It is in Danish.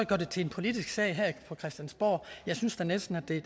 det til en politisk sag her på christiansborg jeg synes da næsten at det